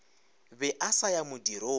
be a sa ya modirong